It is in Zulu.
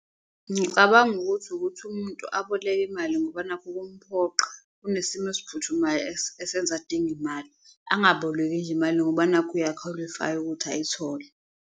Ngicabanga ukuthi ukuthi umuntu aboleke imali ngoba nakhu kumphoqa, kunesimo esiphuthumayo esenza adinge imali, angaboleki nje imali ngoba nakhu uyakhwalifaya ukuthi ayithole.